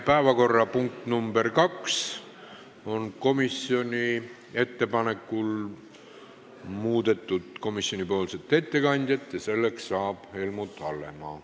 Päevakorrapunktis nr 2 on komisjoni ettepanekul muudetud komisjoni ettekandjat, kelleks on saanud Helmut Hallemaa.